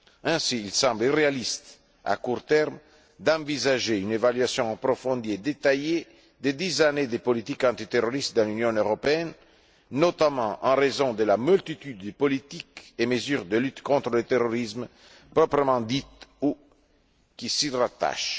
Ainsi, il semble irréaliste, à court terme, d'envisager une évaluation approfondie et détaillée de dix années de politique antiterroriste dans l'Union européenne, notamment en raison de la multitude des politiques et mesures de lutte contre le terrorisme proprement dites ou qui s'y rattachent.